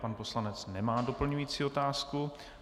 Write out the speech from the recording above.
Pan poslanec nemá doplňující otázku.